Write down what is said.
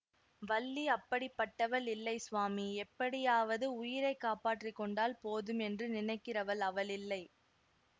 வள்ளி அப்படிப்பட்டவள் இல்லை சுவாமி எப்படியாவது உயிரை காப்பாற்றி கொண்டால் போதும் என்று நினைக்கிறவள் அவள் இல்லை